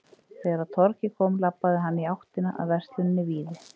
Þegar á torgið kom labbaði hann í áttina að versluninni Víði.